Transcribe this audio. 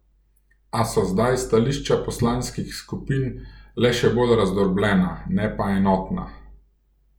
A so zdaj stališča poslanskih skupin le še bolj razdrobljena, ne pa enotna.